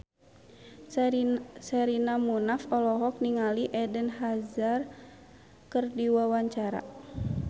Sherina Munaf olohok ningali Eden Hazard keur diwawancara